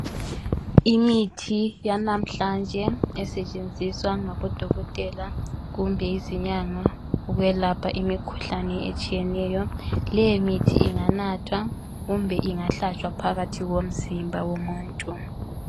Imithi yanamhlanje esetshenziswa ngabodokotela kumbe izinyanga ukwelapha imkhuhlane etshiyeneyo , leyi mithi inganathwa kumbe ingahlatshwa phakathi komzimba womuntu